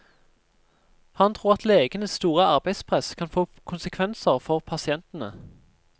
Han tror at legenes store arbeidspress kan få konsekvenser for pasientene.